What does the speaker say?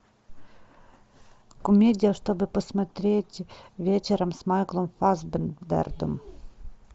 комедия чтобы посмотреть вечером с майклом фассбендером